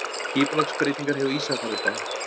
Skipulagsbreytingar hjá Ísafjarðarbæ